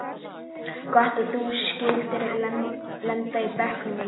Gott að þú skyldir lenda í bekknum mínum.